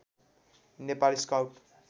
Nepal scout